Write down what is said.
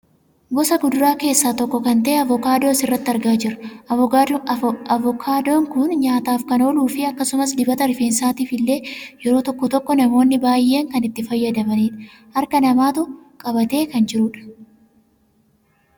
Gosa kuduraa keessaa tokko kan ta'e avokaadoo asirratti argaa jirra. Avokaadoon kun nyaataaf kan ooluu fi akkasumas dibata rifeensaatif illee yeroo tokko namoonni baayyeen kan itti fayyadamanidha. Harka namaatu qabatee kan jirudha.